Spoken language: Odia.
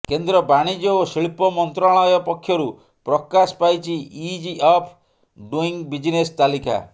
କେନ୍ଦ୍ର ବାଣିଜ୍ୟ ଓ ଶିଳ୍ପ ମନ୍ତ୍ରାଳୟ ପକ୍ଷରୁ ପ୍ରକାଶ ପାଇଛି ଇଜ୍ ଅଫ୍ ଡୁଇଙ୍ଗ ବିଜିନେସ୍ ତାଲିକା